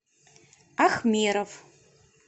ахмеров